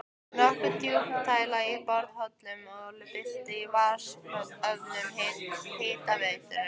Notkun djúpdælna í borholum olli byltingu í vatnsöflun Hitaveitunnar.